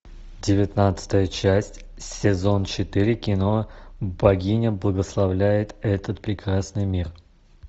девятнадцатая часть сезон четыре кино богиня благословляет этот прекрасный мир